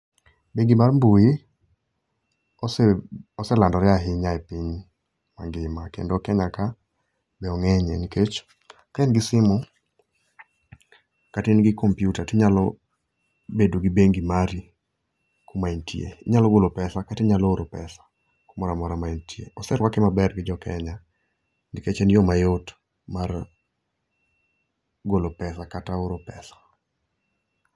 Bengi mar mbui ose ose landore ahinya e piny mangima kendo Kenya ka ong'enyie nikech ka in gi simu kata in gi kompiuta to inyalo bedo gi bengi mari kuma intie. Inyalo golo pesa, kata inyalo oro pesa kumoro amora ma intie. Oseruake maber gijo Kenya nikech en yo mayot mar golo pesa kata oro pesa.